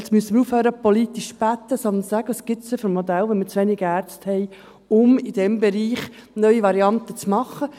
Wir müssen aufhören, politisch zu beten, sondern sagen, welche Modelle es gibt, wenn wir zu wenig Ärzte haben, um in diesem Bereich neue Varianten zu machen.